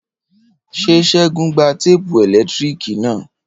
Ṣé Segun gba téèpù ẹ̀lẹ́tíríkì na?